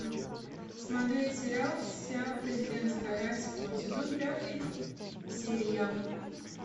смотреть сериал вся президентская рать седьмой сезон пятая серия